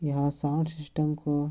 यह sound system को --